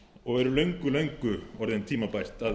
og er löngu löngu orðið tímabært að upplýsingar